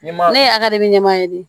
Ɲɛma ne ye a ka dibi ɲɛma ye de